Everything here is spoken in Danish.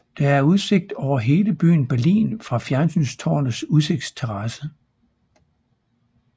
Der er udsigt over hele byen Berlin fra fjernsynstårnets udsigtsterrasse